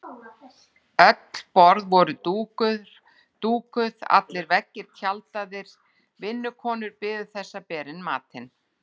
Öll borð voru dúkuð, allir veggir tjaldaðir, vinnukonur biðu þess að bera inn matinn.